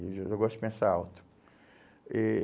E eu gosto de pensar alto. Eh